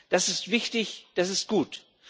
Das ist wichtig, das ist gut.